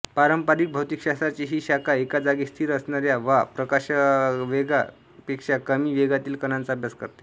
पारंपारिक भौतिकशास्त्राची ही शाखा एका जागी स्थिर असणाऱ्या वा प्रकाशवेगापेक्षा कमी वेगातील कणांचा अभ्यास करते